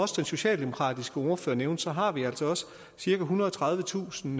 socialdemokratiske ordfører også nævnte har vi altså også cirka ethundrede og tredivetusind